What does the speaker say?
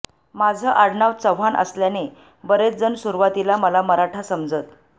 माझं आडनाव चव्हाण असल्याने बरेच जण सुरुवातीला मला मराठा समजत